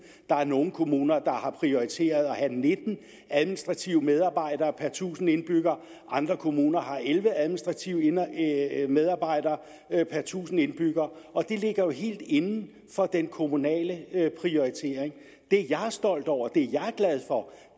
der er nogle kommuner der har prioriteret at have nitten administrative medarbejdere per tusind indbyggere og andre kommuner der har elleve administrative medarbejdere per tusind indbyggere og det ligger jo helt inden for den kommunale prioritering det jeg er stolt over det